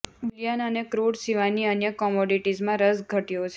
Boolean અને crude સિવાયની અન્ય કોમોડિટીઝમાં રસ ઘટ્યો છે